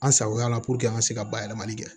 An sagoya la puruke an ka se ka bayɛlɛmali kɛ